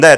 Ne?